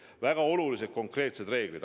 Väga olulised konkreetsed reeglid.